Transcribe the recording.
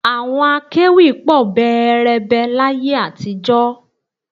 Àwọn akẹ́wì pọ̀ bẹẹrẹbẹ láyé àtijọ́